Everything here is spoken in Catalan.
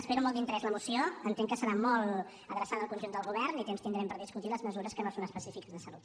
espero amb molt d’interès la moció entenc que serà molt adreçada al conjunt del govern i temps tindrem per discutir les mesures que no són específiques de salut